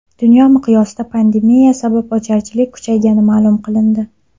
Dunyo miqyosida pandemiya sabab ocharchilik kuchaygani ma’lum qilindi.